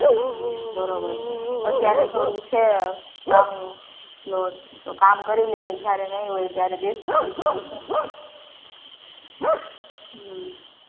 હમ બરોબર છે અત્યારે તો આવું છે કામ load તો કામ કરી લે જયારે નહીં હોય ત્યારે બેસીસું બીજું શું